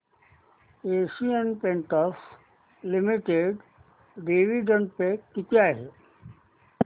Asian Paints limited dividend pay किती आहे